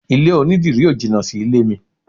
Ilé onidírì ó jìnà sí ilé mi.